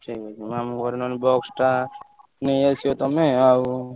ସେଇ ମାମୁଁଙ୍କର ନହେଲେ box ଟା ନେଇଆସିବ ତମେ ଆଉ।